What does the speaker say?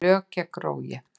Lög gegn rógi